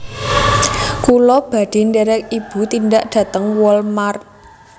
Kula badhe nderek ibu tindak dateng Wal mart